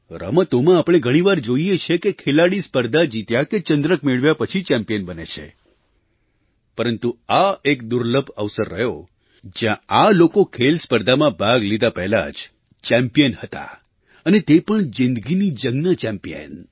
રમતોમાં આપણે ઘણી વાર જોઈએ છીએ કે ખેલાડી સ્પર્ધા જીત્યા કે ચંદ્રક મેળવ્યા પછી ચેમ્પ્યિન બને છે પરંતુ આ એક દુર્લભ અવસર રહ્યો જ્યાં આ લોકો ખેલ સ્પર્ધામાં ભાગ લીધા પહેલાં જ ચેમ્પિયન હતા અને તે પણ જિંદગીની જંગના ચેમ્પિયન